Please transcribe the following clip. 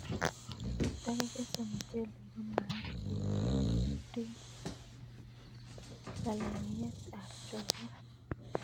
Ndakakekes muchelek ko magat keribip lalangiyet ab choget